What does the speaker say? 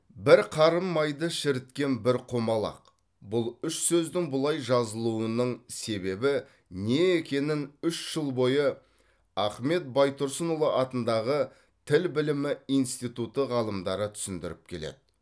бір қарын майды шіріткен бір құмалақ бұл үш сөздің бұлай жазылуының себебі не екенін үш жыл бойы ахмет байтұрсынұлы атындағы тіл білімі институты ғалымдары түсіндіріп келеді